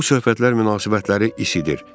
Bu söhbətlər münasibətləri isidir.